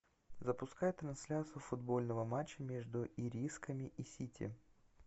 запускай трансляцию футбольного матча между ирисками и сити